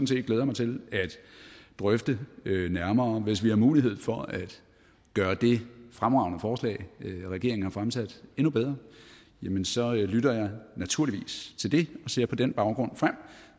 set glæder mig til at drøfte nærmere hvis vi har mulighed for at gøre det fremragende forslag regeringen har fremsat endnu bedre jamen så lytter jeg naturligvis til det jeg ser på den baggrund frem